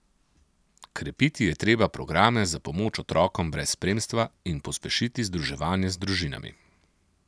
Krepiti je treba programe za pomoč otrokom brez spremstva in pospešiti združevanje z družinami.